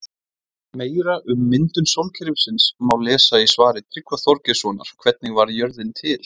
Meira um myndun sólkerfisins má lesa í svari Tryggva Þorgeirssonar Hvernig varð jörðin til?